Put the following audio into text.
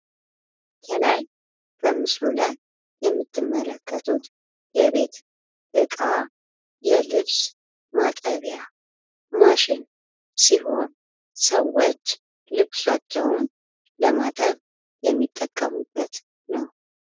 ከላይ በምስሉ ላይ የምትመለከቱት የቤት ዕቃ የልብስ ማጠቢያ ማሽን ሲሆን ሰዎች ልብሳቸውን ለማጠብ የሚጠቀሙበት ነው።